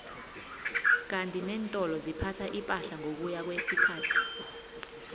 kandi nentolo ziphatha ipahla ngokuya kwesikhathi